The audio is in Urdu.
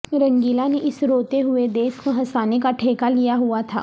رنگیلا نے اس روتے ہوئے دیس کو ہنسانے کا ٹھیکہ لیا ہوا تھا